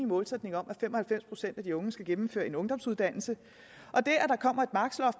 målsætning om at fem og halvfems procent af de unge skal gennemføre en ungdomsuddannelse